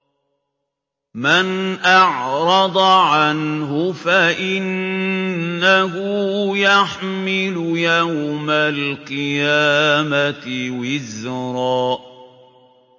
مَّنْ أَعْرَضَ عَنْهُ فَإِنَّهُ يَحْمِلُ يَوْمَ الْقِيَامَةِ وِزْرًا